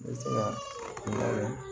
Ne bɛ se ka